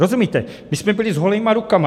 Rozumíte, my jsme byli s holýma rukama.